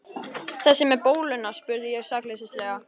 Þessi með bóluna? spurði ég sakleysislega.